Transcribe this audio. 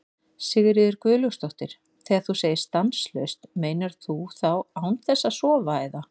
Sigríður Guðlaugsdóttir: Þegar þú segir stanslaust, meinar þú þá án þess að sofa eða?